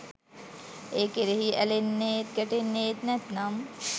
ඒ කෙරෙහි ඇලෙන්නේත් ගැටෙන්නේත් නැත්නම්,